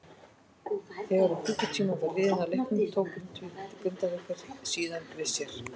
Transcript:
Þegar um klukkutími var liðinn af leiknum tóku Grindvíkingar síðan við sér.